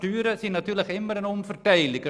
Steuern sind natürlich immer eine Umverteilung.